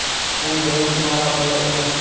Bu birinchi marotaba emas.